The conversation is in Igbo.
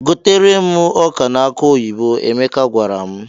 "Gotere m ọka na akụ oyibo," Emeka gwara m.